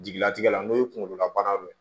Jigilatigɛ la n'o ye kunkololabana dɔ ye